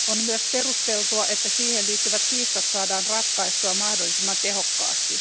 On myös perusteltua, että siihen liittyvät kiistat saadaan ratkaistua mahdollisimman tehokkaasti.